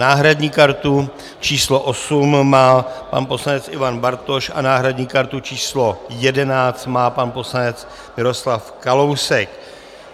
Náhradní kartu číslo 8 má pan poslanec Ivan Bartoš a náhradní kartu číslo 11 má pan poslanec Miroslav Kalousek.